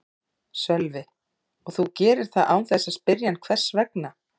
Sölvi: Og þú gerir það án þess að spyrja hann hvers vegna?